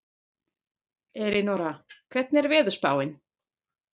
Elínora, hvernig er veðurspáin?